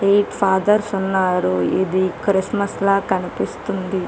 Eight fathers ఉన్నారు ఇది Christmas లా కనిపిస్తుంది .